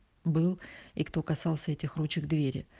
был и кто касался этих ручек двери